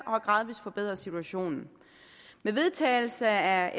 og har gradvis forbedret situationen med vedtagelse af